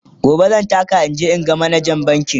gobe zan taka in je in ga manajan bankin